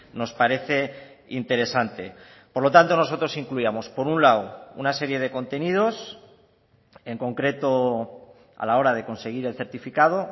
nos parece interesante por lo tanto nosotros incluíamos por un lado una serie de contenidos en concreto a la hora de conseguir el certificado